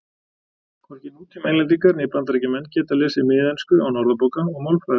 hvorki nútíma englendingar né bandaríkjamenn geta lesið miðensku án orðabóka og málfræðibóka